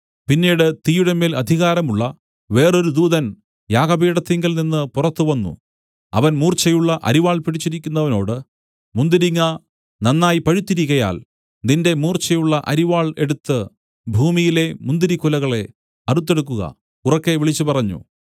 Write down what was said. പിന്നീട് തീയുടെമേൽ അധികാരമുള്ള വേറൊരു ദൂതൻ യാഗപീഠത്തിങ്കൽ നിന്നു പുറത്തു വന്നു അവൻ മൂർച്ചയുള്ള അരിവാൾ പിടിച്ചിരുന്നവനോട് മുന്തിരിങ്ങ നന്നായി പഴുത്തിരിക്കയാൽ നിന്റെ മൂർച്ചയുള്ള അരിവാൾ എടുത്തു ഭൂമിയിലെ മുന്തിരിക്കുലകളെ അറുത്തെടുക്കുക ഉറക്കെ വിളിച്ചു പറഞ്ഞു